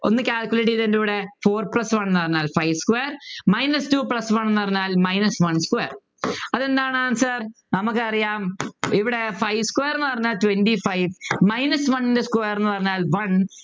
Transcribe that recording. ഒന്ന് calculate ചെയ്തേ എൻ്റെ കൂടെ four plus one ന്നു പറഞ്ഞാൽ five square minus two plus one ന്നു പറഞ്ഞാൽ minus one square അതെന്താണ് answer നമുക്കറിയാം ഇവിടെ five square ന്നു പറഞ്ഞാൽ twenty five minus one ൻ്റെ square ന്നു പറഞ്ഞാൽ one